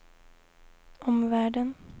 omvärlden